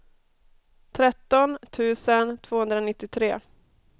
tretton tusen tvåhundranittiotre